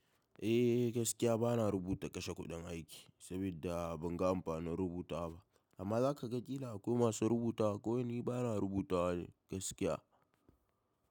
Eh gaskiya bana rubuta kashe kuɗin aiki saboda ban gan ba na rubutawa ba amma za ka ga ƙila akwai masu rubutawa kawai ni bana rubutawa ne gaskiya.